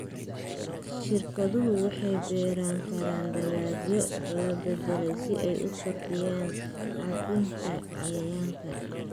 Shirkaduhu waxay beeran karaan dalagyo la beddelay si ay u kordhiyaan caabbinta cayayaanka.